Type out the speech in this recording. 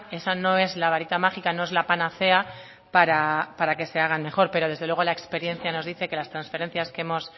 esa no es la varita mágica no es la panacea para que se haga mejor pero desde luego la experiencia nos dice que las transferencias que hemos